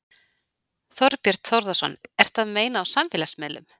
Þorbjörn Þórðarson: Eru að meina á samfélagsmiðlum?